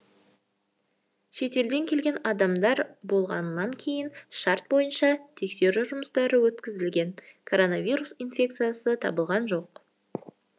шетелден келген адамдар болғаннан кейін шарт бойынша тексеру жұмыстары өткізілген коронавирус инфекциясы табылған жоқ